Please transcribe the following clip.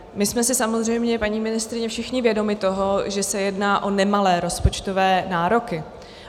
My jsme si samozřejmě, paní ministryně, všichni vědomi toho, že se jedná o nemalé rozpočtové nároky.